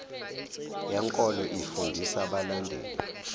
yenkolo ifundisa abalandeli